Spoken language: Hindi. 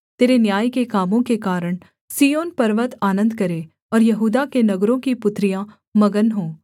तेरे न्याय के कामों के कारण सिय्योन पर्वत आनन्द करे और यहूदा के नगर की पुत्रियाँ मगन हों